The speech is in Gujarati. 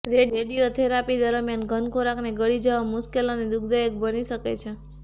રેડિઓથેરાપી દરમિયાન ઘન ખોરાકને ગળી જવા મુશ્કેલ અને દુઃખદાયક બની શકે છે